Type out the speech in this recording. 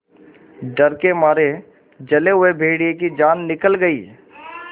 डर के मारे जले हुए भेड़िए की जान निकल गई